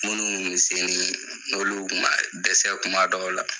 Munnu ku bɛ sen, n'olu kuma dɛsɛ kuma dɔw la.